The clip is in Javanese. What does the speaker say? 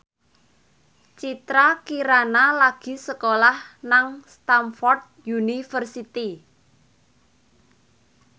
Citra Kirana lagi sekolah nang Stamford University